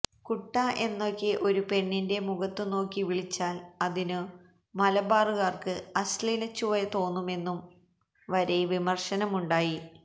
കുട്ടാ എന്നൊക്കെ ഒരു പെണ്ണിന്റെ മുഖത്തുനോക്കി വിളിച്ചാല് അതിനു മലബാര്കാര്ക്ക് അശ്ലീലച്ചുവ തോന്നുമെന്നും വരെ വിമര്ശനമുണ്ടായി